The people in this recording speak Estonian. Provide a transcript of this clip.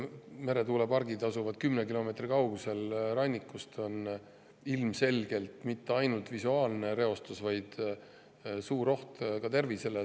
Kui meretuulepargid asuvad 10 kilomeetri kaugusel rannikust, siis ilmselgelt ei ole need mitte ainult visuaalne reostus, vaid ka suur oht tervisele.